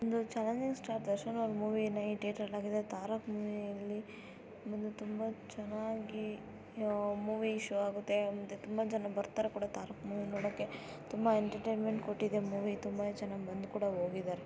ಇದು ಒಂದು challenging star ದರ್ಶನ್‌ರವರ ಮೂವಿ ತಾರಕ್‌ ಮೂವಿಯಲ್ಲಿ ತುಂಬಾ ಚೆನ್ನಾಗಿ ಮೂವಿ ಶೋ ಆಗುತ್ತೆ ತುಂಬಾ ಜನ ಬರ್ತಾರೆ ಕೂಡ ತಾರಕ್‌ ಮೂವಿ ನೋಡಕ್ಕೆ ತುಂಬಾ ಎಂಟರ್ಟೈನ್ ಕೊಟ್ಟಿದೆ ಮೂವಿ ತುಂಬಾ ಜನ ಬಂದು ಕೂಡ ಹೋಗಿದ್ದಾರೆ.